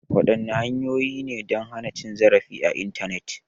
Wadanne hanyoyi ne don hana cin zarafi a Intanet?